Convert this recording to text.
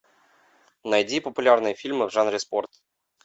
найди популярные фильмы в жанре спорт